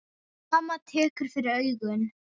Mamma tekur fyrir augun.